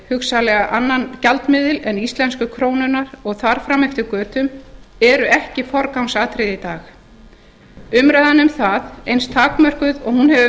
hugsanlega annan gjaldmiðil en íslensku krónuna og þar fram eftir götum eru ekki forgangsatriði í dag umræðan um það eins takmörkuð og hún hefur